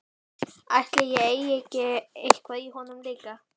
Ætli ég eigi ekki eitthvað í honum líka.